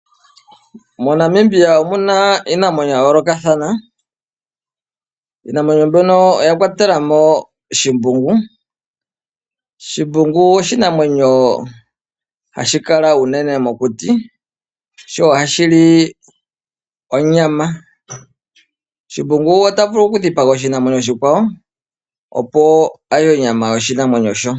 MoNamibia omuna iinamwenyo ya yoolokathana, iinamwenyo mbyono oya kwatela mo shimbungu. Shimbungu oshinamwenyo hashi kala unene mokuti, sho ohashi li onyama. Shimbungu ota vulu okudhipaga oshinamwenyo oshikwawo opo a lye onyama yoshinamwenyo shoka.